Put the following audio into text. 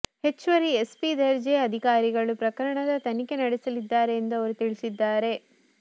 ಹೆಚ್ಚುವರಿ ಎಸ್ಪಿ ದರ್ಜೆಯ ಅಧಿಕಾರಿಗಳು ಪ್ರಕರಣದ ತನಿಖೆ ನಡೆಸಲಿದ್ದಾರೆ ಎಂದು ಅವರು ತಿಳಿಸಿದ್ದಾರೆ